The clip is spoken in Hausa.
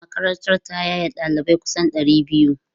Makarantar ta yaye ɗalibai kusan ɗari biyu.